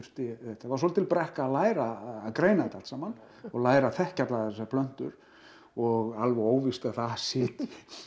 var svolítil brekka að læra að greina þetta allt saman og læra að þekkja allar þessar plöntur og alveg óvíst að það sitji